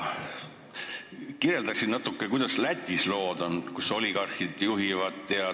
Kirjelda natuke, kuidas on lood Lätis, mida juhivad oligarhid.